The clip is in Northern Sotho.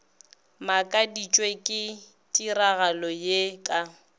makaditšwe ke tiragalo ye ka